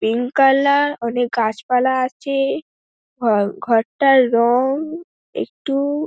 অনেক গাছপালা আছে আ- ঘরটার রং একটু--